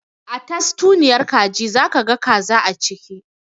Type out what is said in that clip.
A tastunniyar kaji za ka ga kaza a ciki